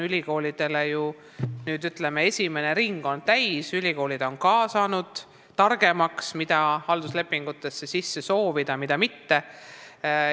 Ütleme nii, et esimene ring on täis saanud: ka ülikoolid on saanud targemaks, mida halduslepingutesse soovida, mida mitte.